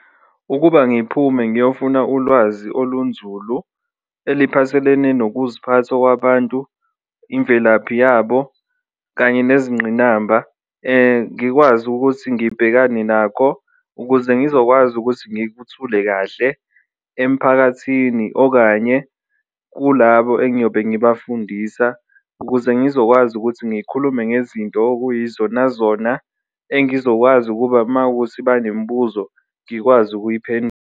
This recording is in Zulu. Ukuba ngiphume ngiyofuna ulwazi olunzulu eliphathelene nokuziphatha okwabantu, imvelaphi yabo kanye nezingqinamba, ngikwazi ukuthi ngibhekane nako ukuze ngizokwazi ukuthi ngikuthule kahle emphakathini, okanye kulabo engiyobe ngibafundisa. Ukuze ngizokwazi ukuthi ngikhulume ngezinto okuyizona zona engizokwazi ukuba mawukuthi banemibuzo ngikwazi ukuyiphendula.